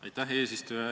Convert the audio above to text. Aitäh, eesistuja!